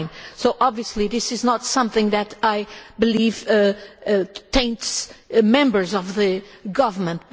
So obviously this is not something that I believe taints members of the government.